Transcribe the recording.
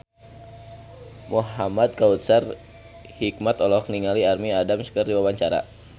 Muhamad Kautsar Hikmat olohok ningali Amy Adams keur diwawancara